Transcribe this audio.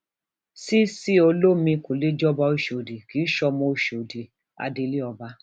cc olomini kó lè jọba ọṣọdì kì í sọmọ ọṣọdì adelé ọba